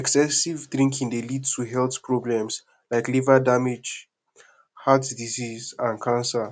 excessive drinking dey lead to health problems like liver damage heart disease and cancer